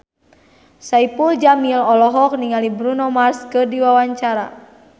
Saipul Jamil olohok ningali Bruno Mars keur diwawancara